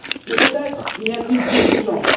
Mais peut être n'y a t il plus urgence.